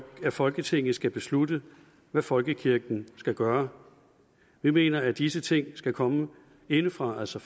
folketinget skal beslutte hvad folkekirken skal gøre vi mener at disse ting skal komme indefra altså